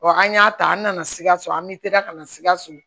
Wa an y'a ta an nana sikaso an bɛ teliya ka na sikaso